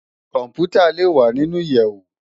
Kòmpútá lé wá ninú iyèwó